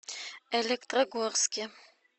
электрогорске